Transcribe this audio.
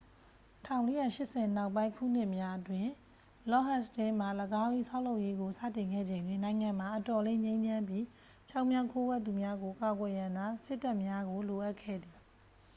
1480 နောက်ပိုင်းခုနှစ်များအတွင်း လော့ဒ်ဟတ်စတင်းမှ ၎င်း၏ ဆောက်လုပ်ရေးကို စတင်ခဲ့ချိန်တွင် နိုင်ငံမှာ အတော်လေး ငြိမ်းချမ်းပြီး ချောင်းမြောင်းခိုးဝှက်သူများကို ကာကွယ်ရန်သာ စစ်တပ်များကို လိုအပ်ခဲ့သည်